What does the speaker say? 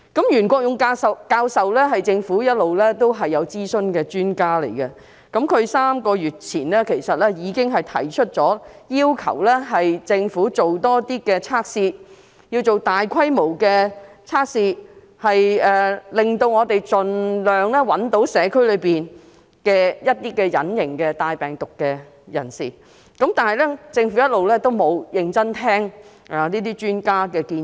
袁國勇教授是政府一直諮詢的專家，他在3個月前已經要求政府進行更多檢測，以及擴大檢測規模，盡力尋找社區內帶有病毒的隱形病人，但政府一直沒有認真聆聽專家的建議。